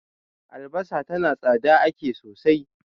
albasa tana tsada ake sosai